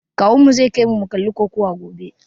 Kawunmu zai kaimu mu kalli kokawa gobe.